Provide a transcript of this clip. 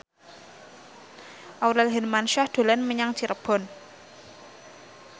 Aurel Hermansyah dolan menyang Cirebon